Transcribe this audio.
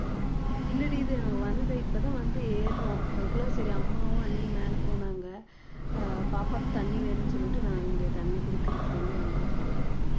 இல்லடி இது வந்தது இப்பதான் வந்து ஏர்றோம் அதுக்குள்ள சரி அம்மாவும் அண்ணியும் மேல போனாங்க அஹ் பாப்பாக்கு தண்ணி வேணும்னு சொல்லிட்டு நான் இங்க தண்ணி குடுக்கறதுக்கு வேண்டி வந்தேன்